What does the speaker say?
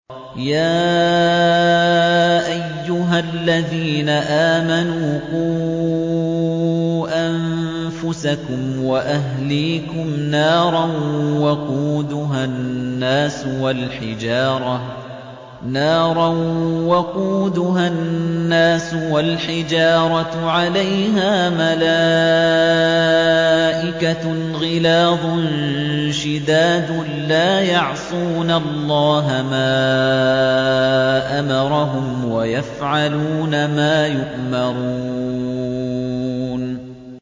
يَا أَيُّهَا الَّذِينَ آمَنُوا قُوا أَنفُسَكُمْ وَأَهْلِيكُمْ نَارًا وَقُودُهَا النَّاسُ وَالْحِجَارَةُ عَلَيْهَا مَلَائِكَةٌ غِلَاظٌ شِدَادٌ لَّا يَعْصُونَ اللَّهَ مَا أَمَرَهُمْ وَيَفْعَلُونَ مَا يُؤْمَرُونَ